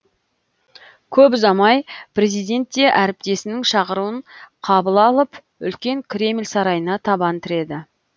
көп ұзамай президент те әріптесінің шақыруын қабыл алып үлкен кремль сарайына табан тіреді